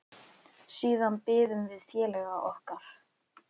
Siðan biðum við félaga okkar.